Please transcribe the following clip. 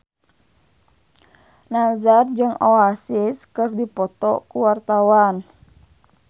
Nassar jeung Oasis keur dipoto ku wartawan